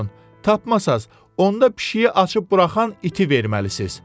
Tapmasaz, onda pişiyi açıb buraxan iti verməlisiz.